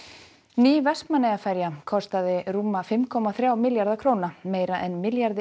ný Vestmannaeyjaferja kostaði rúma fimm komma þrjá milljarða meira en milljarði